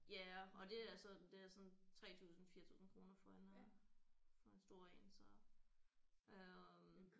Ja og det er sådan det er sådan 3000 4000 kroner for en øh for en stor én så øh